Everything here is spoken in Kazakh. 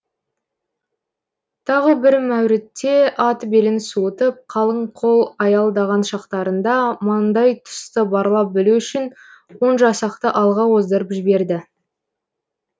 тағы бір мәурітте ат белін суытып қалың қол аялдаған шақтарында маңдай тұсты барлап білу үшін он жасақты алға оздырып жіберді